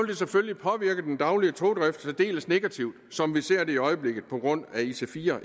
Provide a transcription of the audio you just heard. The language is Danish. det selvfølgelig påvirke den daglige togdrift særdeles negativt som vi ser det i øjeblikket på grund af ic4